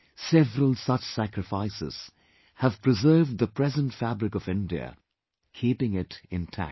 Several such sacrifices have preserved the present fabric of India, keeping it intact